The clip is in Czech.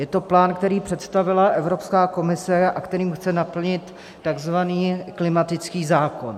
Je to plán, který představila Evropská komise a kterým chce naplnit takzvaný klimatický zákon.